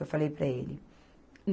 Eu falei para ele.